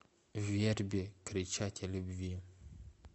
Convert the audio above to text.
верби кричать о любви